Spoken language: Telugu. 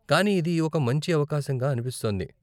కానీ ఇది ఒక మంచి అవకాశంగా అనిపిస్తోంది.